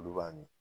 Olu b'a mi